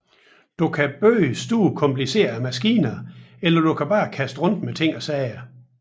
Du kan bygge store komplicerede maskiner eller du kan bare kaste rundt med ting og sager